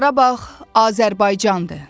Qarabağ Azərbaycandır.